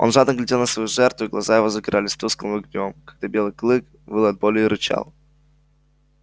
он жадно глядел на свою жертву и глаза его загорались тусклым огнём когда белый клык выл от боли и рычал